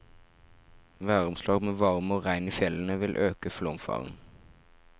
Væromslag med varme og regn i fjellene, vil øke flomfaren.